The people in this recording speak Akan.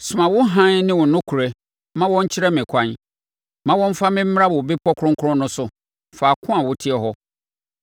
Soma wo hann ne wo nokorɛ ma wɔn nkyerɛ me ɛkwan; ma wɔmmfa me mmra wo Bepɔ Kronkron no so, faako a woteɛ hɔ.